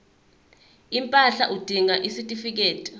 impahla udinga isitifikedi